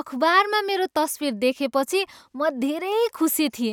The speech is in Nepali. अखबारमा मेरो तस्विर देखेपछि म धेरै खुशी थिएँ।